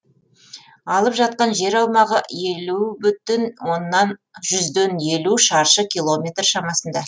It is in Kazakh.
алып жатқан жер аумағы елу бүтін жүзден елу шаршы километр шамасында